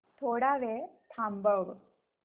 थोडा वेळ थांबव